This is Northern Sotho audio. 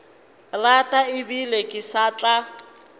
rata ebile ke sa tla